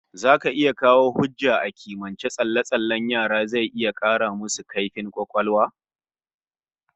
Zaka iya kawo hujja a kimiyance cewa tsalle-tsallen yara zai 'kara musu kaifin kwakwalwa?